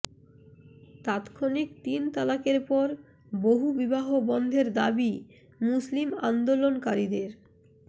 তাত্ক্ষণিক তিন তালাকের পর বহু বিবাহ বন্ধের দাবি মুসলিম আন্দোলনকারীদের